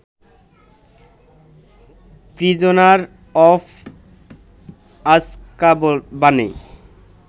prisoner of আজকাবানে